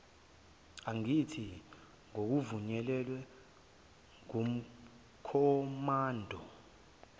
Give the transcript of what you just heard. angathi ngokuvunyelwa ngukhomanda